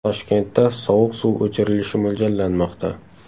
Toshkentda sovuq suv o‘chirilishi mo‘ljallanmoqda.